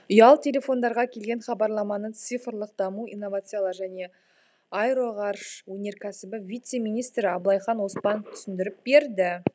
ұялы телефондарға келген хабарламаны цифрлық даму инновациялар және аэроғарыш өнеркәсібі вице министрі абылайхан оспанов түсіндіріп берді